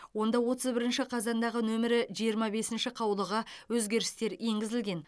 онда отыз бірінші қазандағы нөмірі жиырма бесінші қаулыға өзгерістер енгізілген